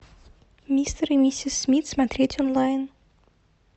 мистер и миссис смит смотреть онлайн